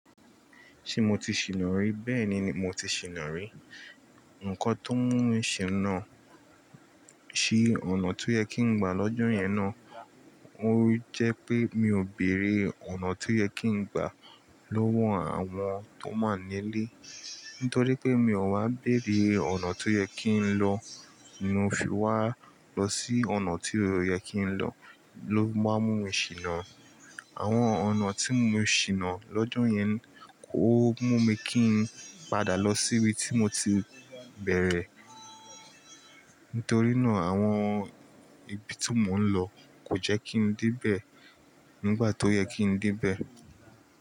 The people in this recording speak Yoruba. Ṣé mo ti ṣìnà rí? Bẹ́ẹ̀ni mo ti ṣìnà rí. Ǹkọ́ tó mú mi ṣìnà sí ọ̀nà tó yẹ kí n gba lọ́jọ́ yẹn náà, ó jẹ́ pé mi ò bèrè ọ̀nà tó yẹ kí n gba lọ́wọ́ àwọn tó máa ń nílé. Nítorí pé mi ò wá bèrè ọ̀nà tó yẹ kí n lọ, inú fi wá lọ sí ọ̀nà tí ò yẹ kí n lọ ló máa ń mú mi ṣìnà. Àwọn ọ̀nà tí mo ṣìnà lọ́jọ́ yẹn kò mú mi kí n padà lọ síbi tí mo ti bẹ̀rẹ̀. Nítorí nà àwọn ibi tí mò ń lọ kò jẹ́ kí n dé bẹ̀ nígbà tó yẹ kí n dé bẹ̀